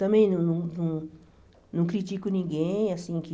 Também não não não critico ninguém assim que